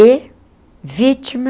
E vítima...